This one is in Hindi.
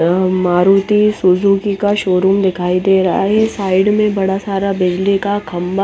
हम्म मारुती सुजुकी का शोरूम दिखाई दे रहा है साइड में बड़ा सारा बिजली का खम्बा --